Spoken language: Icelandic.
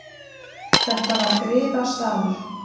Þetta var griðastaður.